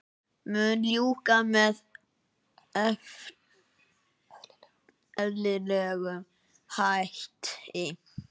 Mun ljúka með eðlilegum hætti